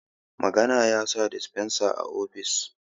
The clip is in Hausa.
managa ya sa disfensa a ofis